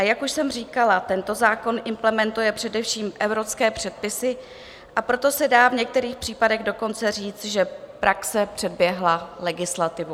A jak už jsem říkala, tento zákon implementuje především evropské předpisy, a proto se dá v některých případech dokonce říct, že praxe předběhla legislativu.